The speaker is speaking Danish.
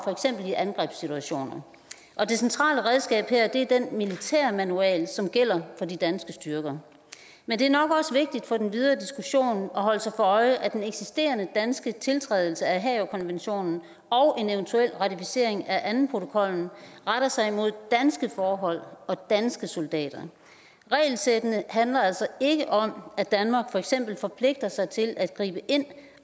i angrebssituationer det centrale redskab er her den militærmanual som gælder for de danske styrker men det er nok også vigtigt for den videre diskussion at holde sig for øje at den eksisterende danske tiltrædelse af haagerkonventionen og en eventuel ratificering af andenprotokollen retter sig imod danske forhold og danske soldater regelsættene handler altså ikke om at danmark for eksempel forpligter sig til at gribe ind